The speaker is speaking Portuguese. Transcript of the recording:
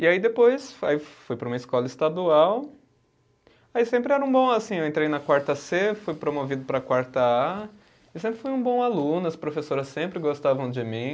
E aí depois aí fui para uma escola estadual, aí sempre era um bom, assim, eu entrei na quarta cê, fui promovido para a quarta A, e sempre fui um bom aluno, as professoras sempre gostavam de mim.